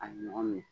A ɲɔgɔn minɛ